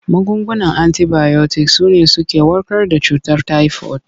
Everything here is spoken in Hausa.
Magungunan antibayotik su ne suke warkar da cutar tayifod.